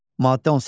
Maddə 18.